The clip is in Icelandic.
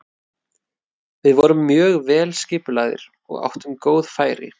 Við vorum mjög vel skipulagðir og áttum góð færi.